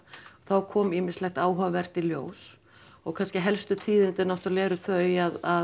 þá kom ýmislegt áhugavert í ljós og kannski helstu tíðindin eru þau að